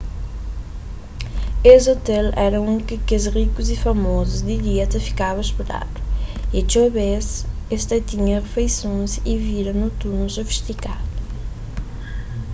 es ôtel éra undi ki kes rikus y famozus di dia ta fikaba ôspedadu y txeu bês es ta tinha rifeisons y vida noturnu sofistikadu